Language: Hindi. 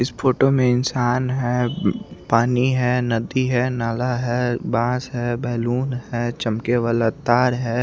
इस फोटो में इंशान है पानी है नदी है नाला है घास है बलून है चमके वाला तार है।